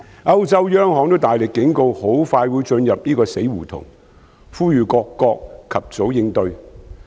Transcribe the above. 歐洲央行也大力警告很快會進入死胡同，呼籲各國及早應對。